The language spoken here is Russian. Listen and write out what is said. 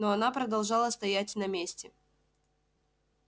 но она продолжала стоять на месте